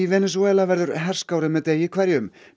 Venesúela verður herskárri með degi hverjum